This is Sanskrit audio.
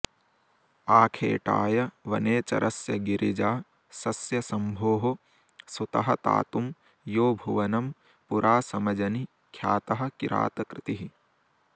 आखेटाय वनेचरस्य गिरिजा सस्य शम्भोः सुतः तातुं यो भुवनं पुरा समजनि ख्यातः किरातकृतिः